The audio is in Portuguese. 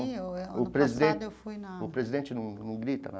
Sim, o ano passado eu fui na... O presidente num num grita na...